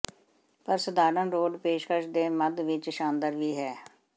ਪਰ ਸਧਾਰਣ ਰੋਡ ਪੇਸ਼ਕਸ਼ ਦੇ ਮੱਧ ਵਿਚ ਸ਼ਾਨਦਾਰ ਵੀ ਹੈ